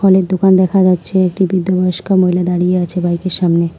অনেক দোকান দেখা যাচ্ছে একটি বৃদ্ধ বয়স্কা মহিলা দাঁড়িয়ে রয়েছে বাইক -এর সামনে।